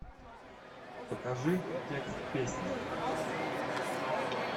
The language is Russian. покажи текст песни